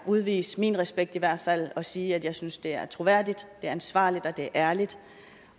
udvise min respekt i hvert fald og sige at jeg synes det er troværdigt det er ansvarligt og det er ærligt